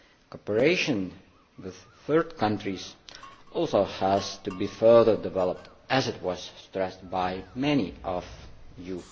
Cooperation with third countries also has to be further developed, as was stressed by many of you.